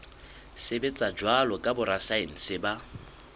sebetsa jwalo ka borasaense ba